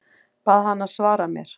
Bað hana að svara mér.